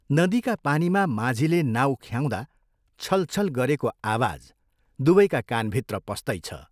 नदीका पानीमा माझीले नाउ ख्याउँदा छलछल गरेको आवाज दुवैका कानभित्र पस्तैछ!